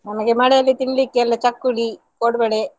ನಮಗೆ ಮಳೆಯಲ್ಲಿ ತಿನ್ಲಿಕ್ಕೆ ಎಲ್ಲ ಚಕ್ಕುಲಿ, ಕೋಡುಬಳೆ.